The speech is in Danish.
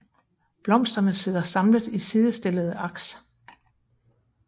Blomsterne sidder samlet i sidestillede aks